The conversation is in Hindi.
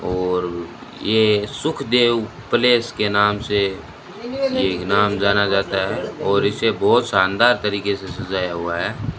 और ये सुखदेव प्लेस पैलेस के नाम से ये नाम जाना जाता है और इसे बहोत शानदार तरीके से सजाया हुआ है।